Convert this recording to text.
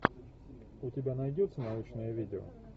у тебя найдется научное видео